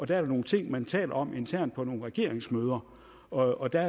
der er nogle ting man taler om internt på nogle regeringsmøder og der